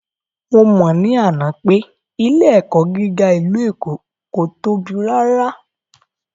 Mo mọ̀ ní àná pé ilé ẹ̀kọ́ gíga ìlú Èkó kò tóbi rárá